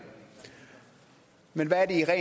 men hvad er